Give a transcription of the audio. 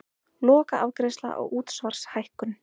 Lokaafgreiðsla á útsvarshækkun